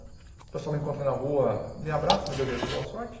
O pessoal me encontra na rua, me abraça, me deseja boa sorte.